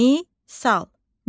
Misal.